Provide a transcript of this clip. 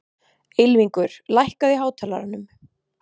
Ylfingur, lækkaðu í hátalaranum.